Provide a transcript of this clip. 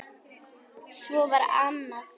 Svo var annað.